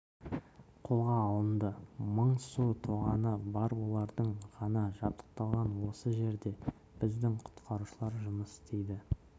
қолға алынды мың су тоғаны бар олардың ғана жабдықталған осы жерде біздің құтқарушылар жұмыс істейді